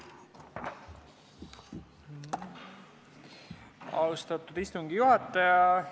Austatud istungi juhataja!